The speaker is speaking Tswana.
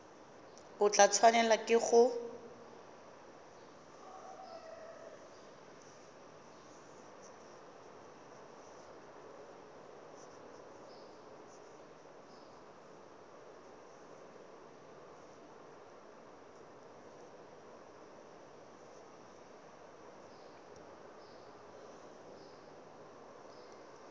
o tla tshwanelwa ke go